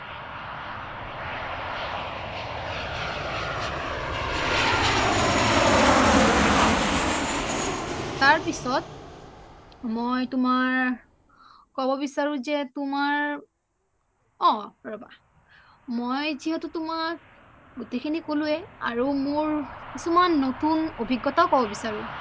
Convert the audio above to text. তাৰপিছত মই তুমাৰ কব বিচাৰো যে তোমাৰ অ ৰবা মই যিহেতু তুমাক গোটেই সিনি কলোয়েই আৰু মোৰ কিছুমান নতুন অভিজ্ঞতাও কব বিচাৰো